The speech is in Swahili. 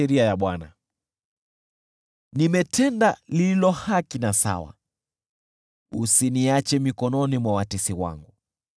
Nimetenda yaliyo haki na sawa, usiniache mikononi mwa watesi wangu.